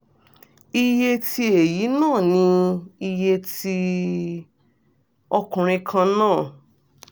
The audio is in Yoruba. iye tí èyí ná ni iye tí ọkùnrin kan ń ná